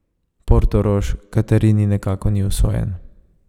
Portorož Katarini nekako ni usojen.